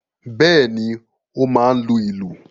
Bẹ́ẹ̀ ni, ó máa ń lu ìlù.